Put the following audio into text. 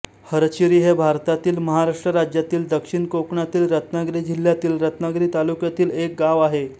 हरचिरी हे भारतातील महाराष्ट्र राज्यातील दक्षिण कोकणातील रत्नागिरी जिल्ह्यातील रत्नागिरी तालुक्यातील एक गाव आहे